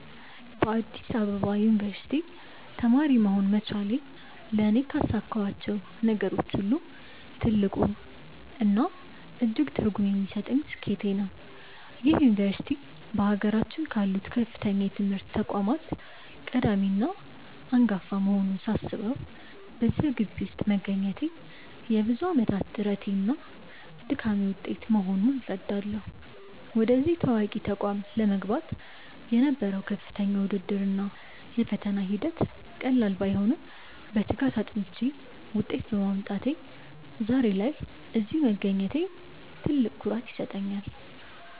በአዲስ አበባ ዩኒቨርሲቲ (Addis Ababa University) ተማሪ መሆን መቻሌ ለእኔ ካሳካኋቸው ነገሮች ሁሉ ትልቁና እጅግ ትርጉም የሚሰጠኝ ስኬቴ ነው። ይህ ዩኒቨርሲቲ በአገራችን ካሉት ከፍተኛ የትምህርት ተቋማት ቀዳሚና አንጋፋ መሆኑን ሳስበው፣ በዚያ ግቢ ውስጥ መገኘቴ የብዙ ዓመታት ጥረቴና ድካሜ ውጤት መሆኑን እረዳለሁ። ወደዚህ ታዋቂ ተቋም ለመግባት የነበረው ከፍተኛ ውድድር እና የፈተና ሂደት ቀላል ባይሆንም፣ በትጋት አጥንቼ ውጤት በማምጣቴ ዛሬ ላይ እዚህ መገኘቴ ትልቅ ኩራት ይሰጠኛል።